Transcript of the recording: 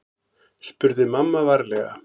spurði mamma varlega.